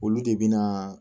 Olu de bɛ na